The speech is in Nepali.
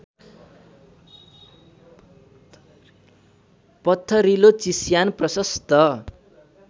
पत्थरिलो चिस्यान प्रशस्त